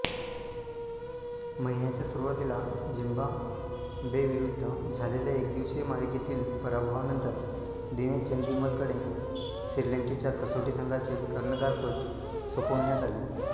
महिन्याच्या सुरवातीला झिम्बाब्वेविरुद्ध झालेल्या एकदिवसीय मालिकेतील पराभवानंतर दिनेश चंदिमलकडे श्रीलंकेच्या कसोटी संघाचे कर्णधारपद सोपवण्यात आले